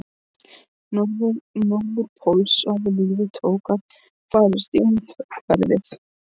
Norðurpóls að líf tók að færast í umhverfið.